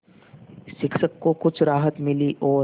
शिक्षक को कुछ राहत मिली और